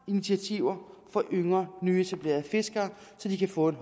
initiativer for yngre nyetablerede fiskere så de kan få en